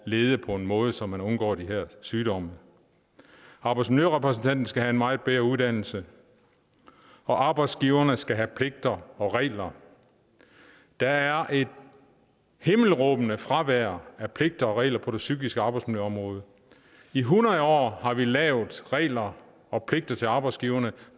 lede på en måde så man undgår de her sygdomme arbejdsmiljørepræsentanten skal have en meget bedre uddannelse og arbejdsgiverne skal have pligter og regler der er et himmelråbende fravær af pligter og regler på det psykiske arbejdsmiljøområde i hundrede år har vi lavet regler og pligter til arbejdsgiverne